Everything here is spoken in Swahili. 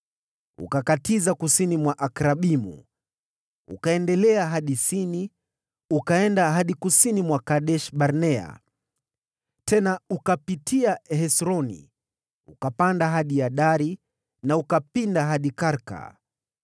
ukakatiza kusini mwa Akrabimu, ukaendelea hadi Sini ukaenda hadi kusini mwa Kadesh-Barnea. Tena ukapitia Hesroni ukapanda hadi Adari na ukapinda hadi Karka.